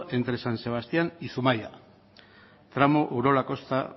entre san sebastián y zumaia tramo urola kosta